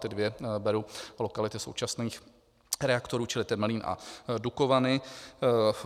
Ty dvě beru lokality současných reaktorů, čili Temelín a Dukovany.